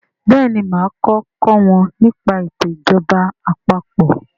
béèni má ko kò wón ní pa eto ìjọba àpapọ̀.